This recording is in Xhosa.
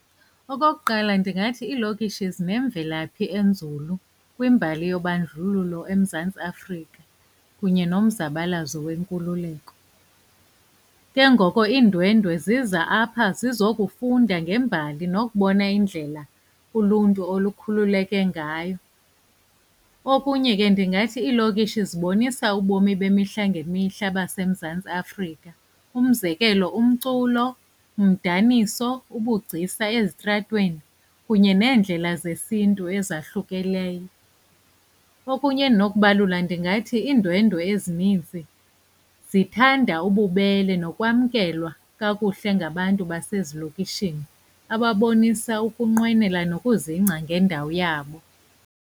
Okokuqala ndingathi iilokishi zinemvelaphi enzulu kwimbali yobandlululo eMzantsi Afrika kunye nomzabalazo wenkululeko. Ke ngoko iindwendwe ziza apha zizokufunda ngembali nokubona indlela uluntu olukhululeke ngayo. Okunye ke ndingathi iilokishi zibonisa ubomi bemihla ngemihla baseMzantsi Afrika, umzekelo umculo, daniso, ubugcisa ezitratweni kunye neendlela zesiNtu ezahlukileyo. Okunye endinokubalula ndingathi iindwendwe ezinintsi zithanda ububele nokwamkelwa kakuhle ngabantu basezilokishini, ababonise ukunqwenela nokuzingca ngendawo yabo.